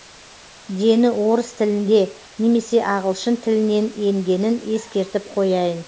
дені орыс тілінде немесе ағылшын тілінен енгенін ескертіп қояйын